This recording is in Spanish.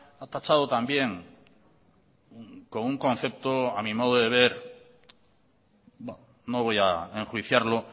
ha tachado también con un concepto a mi modo de ver no voy a enjuiciarlo